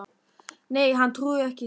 Nei, hann trúir ekki, sagði síra Björn.